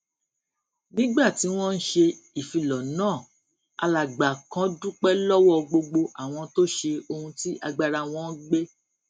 nígbà tí wón ń ṣe ìfilò náà alàgbà kan dúpé lówó gbogbo àwọn tó ṣe ohun tí agbára wọn gbé